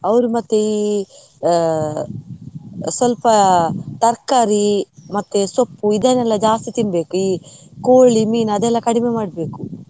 ಅವ್ರು ಮತ್ತೆ ಈ ಅಹ್ ಸ್ವಲ್ಪ ತರ್ಕಾರಿ ಮತ್ತೆ ಸೊಪ್ಪು ಇದನ್ನೆಲ್ಲಾ ಜಾಸ್ತಿ ತಿನ್ಬೇಕು, ಈ ಕೋಳಿ ಮೀನು ಅದಲ್ಲ ಕಡಿಮೆ ಮಡ್ಬೇಕು.